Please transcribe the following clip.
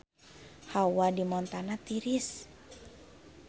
Hawa di Montana tiris